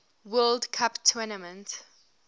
world cup tournament